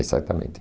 Exatamente.